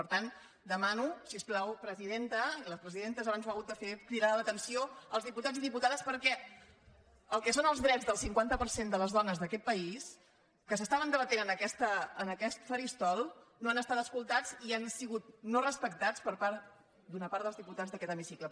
per tant demano si us plau presidenta i la presidenta abans ho ha hagut de fer cridar l’atenció als diputats i diputades perquè el que són els drets del cinquanta per cent de les dones d’aquest país que s’estaven debatent en aquest faristol no han estat escoltats i han sigut no respectats per part d’una part dels diputats d’aquest hemicicle